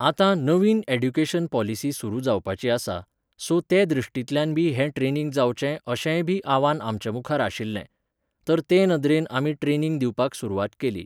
आतां नवीन education policy सुरू जावपाची आसा, सो ते दृश्टींल्यानबी हें ट्रेनिंग जावचें अशेंयबी आव्हान आमच्यामुखार आशिल्लें. तर ते नदरेन आमी ट्रेनिंग दिवपाक सुरवात केली